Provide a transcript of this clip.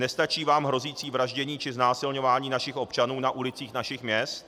Nestačí vám hrozící vraždění či znásilňování našich občanů na ulicích našich měst?